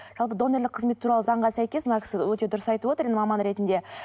жалпы донорлық қызмет туралы заңға сәйкес мына кісі өте дұрыс айтып отыр енді маман ретінде